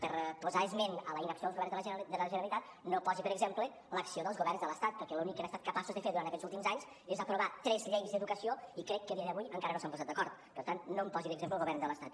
per posar esment de la inacció dels governs de la generalitat no posi per exemple l’acció dels governs de l’estat perquè l’únic que han estat capaços de fer durant aquests últims anys és aprovar tres lleis d’educació i crec que a dia d’avui encara no s’han posat d’acord per tant no em posi d’exemple el govern de l’estat